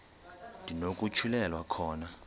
ndi nokutyhilelwa khona